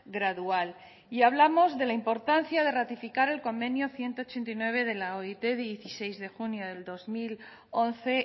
gradual y hablamos de la importancia de ratificar el convenio ciento ochenta y nueve de la oit de dieciséis de junio del dos mil once